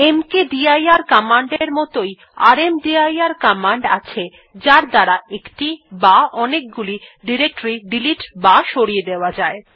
মকদির command এর মতই রামদির কমান্ড আছে যার দ্বারা একটি বা অনেকগুলি ডিরেক্টরী ডিলিট বা সরিয়ে দেওয়া যায়